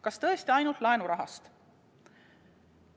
Kas tõesti ainult laenurahast?